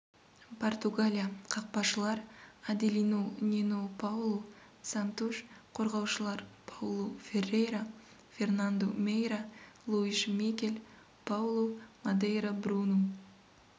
португалия қақпашылар аделину нену паулу сантуш қорғаушылар паулу феррейра фернанду мейра луиш мигел паулу мадейра бруну